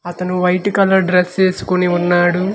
అతను white colour dress ఏస్కోని ఉన్నాడు.